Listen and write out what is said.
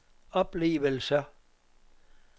oplevelser